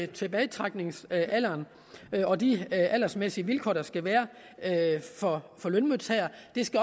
tilbagetrækningsalderen og de aldersmæssige vilkår der skal være for lønmodtagere